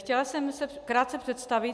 Chtěla jsem se krátce představit.